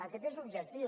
aquest és l’objectiu